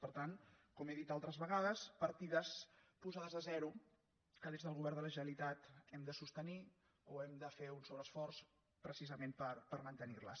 per tant com he dit altres vegades partides posades a ze·ro que des del govern de la generalitat hem de sos·tenir o hem de fer un sobreesforç precisament per mantenir·les